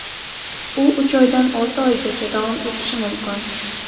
U uch oydan olti oygacha davom etishi mumkin.